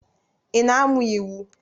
Ị na-amụ iwu?